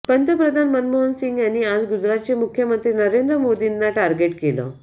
पंतप्रधान मनमोहन सिंग यांनी आज गुजरातचे मुख्यमंत्री नरेंद्र मोदींना टार्गेट केलं